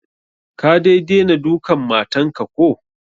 Ka dai dena dukan matan ka ko?